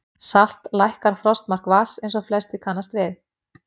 Salt lækkar frostmark vatns eins og flestir kannast við.